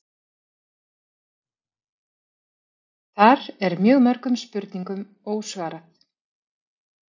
Þar er mjög mörgum spurningum ósvarað